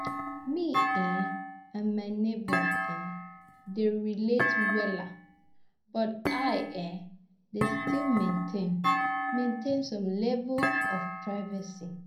Me um and my neighbors um dey relate wella, but I um dey still maintain maintain some level of privacy.